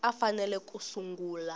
a a fanele ku sungula